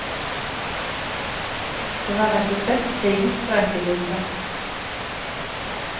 Det var rett og slett krigens berettigelse.